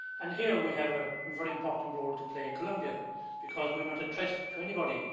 Here we have a very important role to play in Colombia because we are not a threat to anybody.